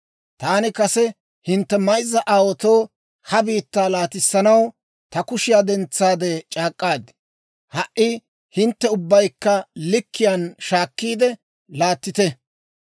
Taani kase hintte mayzza aawaatoo ha biittaa laatissanaw ta kushiyaa dentsaade c'aak'k'aad; ha"i hintte ubbaykka likkiyaan shaakkiide laattite.